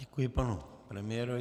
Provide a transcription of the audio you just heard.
Děkuji panu premiérovi.